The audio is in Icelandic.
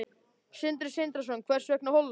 Sindri Sindrason: Hvers vegna Holland?